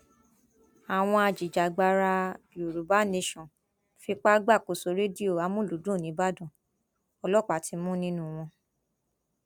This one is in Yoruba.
àwọn ajìjàgbara yorùbá nation fipá gbàkóso rédíò amulùdún nibọdàn ọlọpàá ti mú nínú wọn